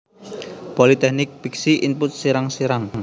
Politeknik Piksi Input Serang Serang